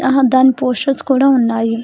ఆ దాని పోస్టర్స్ కూడా ఉన్నాయి.